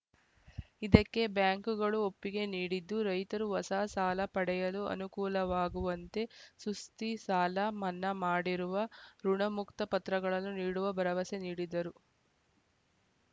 ಇದಕ್ಕೆ ಬ್ಯಾಂಕ್‌ಗಳೂ ಒಪ್ಪಿಗೆ ನೀಡಿದ್ದು ರೈತರು ಹೊಸ ಸಾಲ ಪಡೆಯಲು ಅನುಕೂಲವಾಗುವಂತೆ ಸುಸ್ತಿ ಸಾಲ ಮನ್ನಾ ಮಾಡಿರುವ ಋುಣಮುಕ್ತ ಪತ್ರಗಳನ್ನು ನೀಡುವ ಭರವಸೆ ನೀಡಿದರು